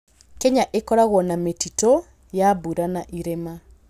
Kenya ĩkoragwo na mĩtitũ ya mbura na irĩma.